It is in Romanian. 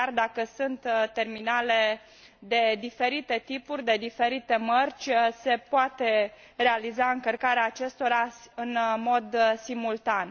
Chiar dacă sunt terminale de diferite tipuri, de diferite mărci, se poate realiza încărcarea acestora în mod simultan.